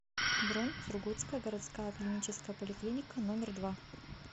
бронь сургутская городская клиническая поликлиника номер два